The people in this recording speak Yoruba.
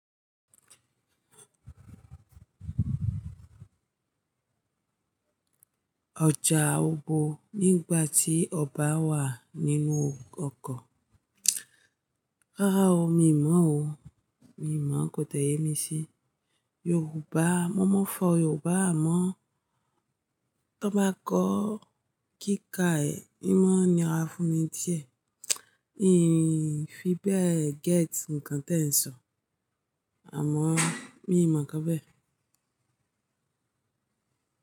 Ọjà obo nígbà tí ọba wà nínú ọkọ̀. Rárá o, mi ò mọ̀ o. Mi ò mọ̀, kò tiẹ̀ yé mi sí. Yorùbá, mo mọ̀ fọ Yorùbá àmọ́ Tọ bá kọ kíkà ẹ̀, imọ̀ ni ara fún mi díẹ̀. Nìyí fí bẹ́ẹ̀ gẹ́tì ǹkan tí ẹ ń sọ, àmọ́ mi ò mọ̀ kan bẹ́ẹ̀